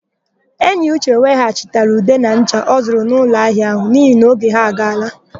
Eyiuche weghachiri ude na ncha ọ zụrụ n'ụlọahịa áhụ̀ n'ihi na oge ha agaala.